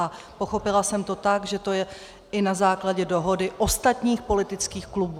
A pochopila jsem to tak, že to je i na základě dohody ostatních politických klubů.